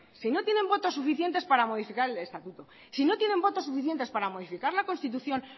si no tienen votos suficientes para modificar el estatuto si no tienen votos suficientes para modificar la constitución